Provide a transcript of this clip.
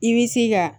I bi se ka